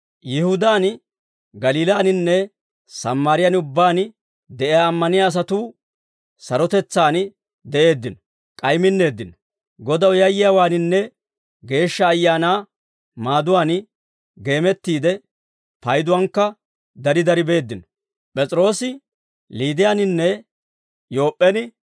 Yihudaan, Galiilaaninne Sammaariyaan ubbaan de'iyaa ammaniyaa asatuu sarotetsaan de'eeddino; k'ay minneeddino; Godaw yayyiyaawaaninne Geeshsha Ayaanaa maaduwaan geemettiidde, payduwaankka dari dari beeddino.